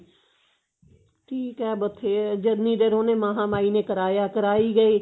ਠੀਕ ਏ ਬਥੇ ਜਿੰਨੀ ਦੇਰ ਉਹਨੇ ਮਹਾਂ ਮਾਈ ਨੇ ਕਰਾਇਆ ਕਰਾਈ ਗਏ